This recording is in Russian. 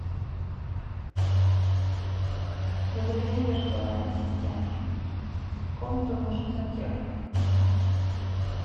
добрый день виртуальный ассистент в комнату нужен сантехник